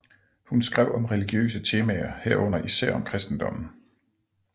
Hun skrev om religiøse temaer herunder især om Kristendommen